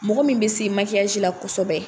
Mɔgɔ min be se la kɔsɛbɛ